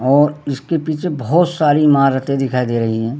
और इसके पीछे बहोत सारी इमारते दिखाई दे रही हैं।